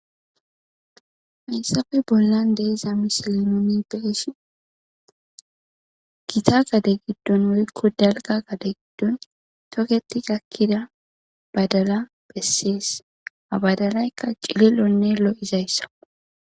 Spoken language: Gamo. Hayssappe bollan de'iza misile nuni be'ishin gita gade giddon woyko dalga gade giddon toketti gakkida badala besses. Ha badalayka cililonne lo'izayssa.